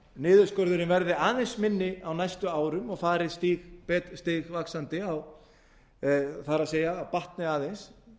niðurskurðurinn verði aðeins minni á næstu árum og fari stigvaxandi það er batni aðeins